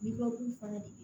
fana de